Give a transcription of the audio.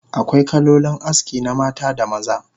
Akwai kalolin aski na mata da maza